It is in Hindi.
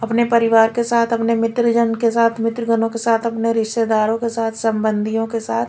अपने परिवार के साथ अपने मित्रजन के साथ मित्रगनों के साथ अपने रिश्तेदारों के साथ संबंधियों के साथ--